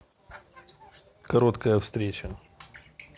короткая встреча